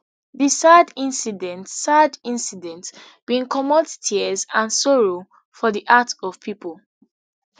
di sad incident sad incident bin comot tears and sorrow for di heart of pipo